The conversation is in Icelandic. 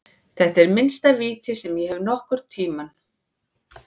Þetta er minnsta víti sem ég hef séð nokkurntímann.